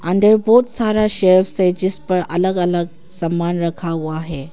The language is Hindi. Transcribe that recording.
अंदर बहुत सारा सेल्फस से जिस पर अलग अलग सामान रखा हुआ है।